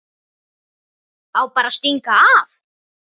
Á bara að stinga af.